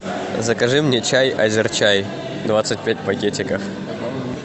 закажи мне чай азерчай двадцать пять пакетиков